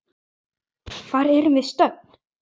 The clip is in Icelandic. Hvar erum við stödd?